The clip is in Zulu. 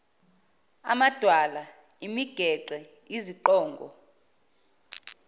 amadwala imigede iziqongo